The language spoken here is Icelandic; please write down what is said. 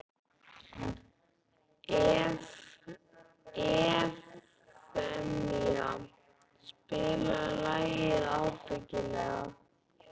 Evfemía, spilaðu lagið „Ábyggilega“.